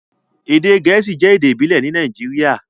Èdè Gẹẹsi jẹ̀ èdè ìbílẹ̀ ní Nàìjíríà,